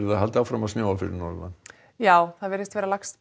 að halda áfram að snjóa fyrir norðan já það virðist vera lagst